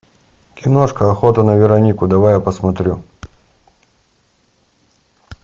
киношка охота на веронику давай я посмотрю